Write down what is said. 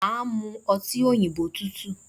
Màá mu ọtí òyìnbó tútù